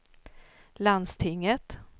landstinget